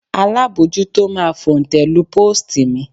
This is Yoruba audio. Alábojútó máa fòǹtẹ̀ lu póòstì mi